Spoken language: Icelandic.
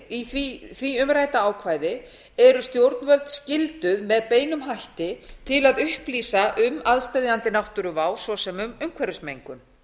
í því umrædda ákvæði eru stjórnvöld skylduð með beinum hætti til að upplýsa um aðsteðjandi náttúruvá svo sem um umhverfismengun